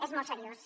és molt seriós